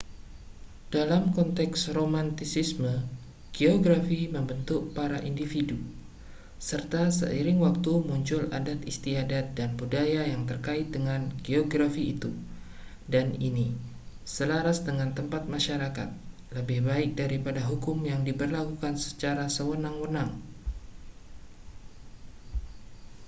dalam konteks romantisisme geografi membentuk para individu serta seiring waktu muncul adat istiadat dan budaya yang terkait dengan geografi itu dan ini selaras dengan tempat masyarakat lebih baik daripada hukum yang diberlakukan secara sewenang-wenang